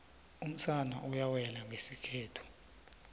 umsana uyawela iygesikhethu